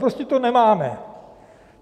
Prostě to nemáme.